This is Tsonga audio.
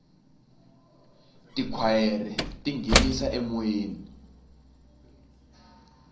tikhwayere ti nghenisa emoyeni